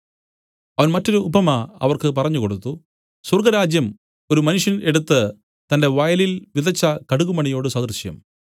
മറ്റൊരു ഉപമ അവൻ അവർക്ക് പറഞ്ഞു കൊടുത്തു സ്വർഗ്ഗരാജ്യം ഒരു മനുഷ്യൻ എടുത്തു തന്റെ വയലിൽ വിതച്ച കടുകുമണിയോട് സദൃശം